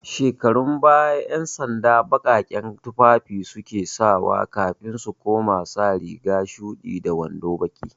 Shekarun baya, 'yansanda baƙaƙen tufafi su ke sawa kafin su koma sa riga shuɗi da wando baƙi.